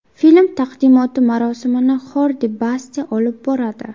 Film taqdimoti marosimini Xordi Baste olib boradi.